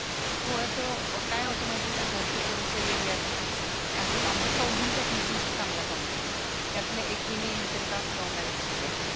थोडस काय होत माहितीये का घरचे थोडेसे वेगळे असले की आमचं चौघीचा एकमेकींशी चांगला कॉन्टॅक्ट ये त्यातल्या एकीने इंटरकास्ट लव मॅरेज केलंय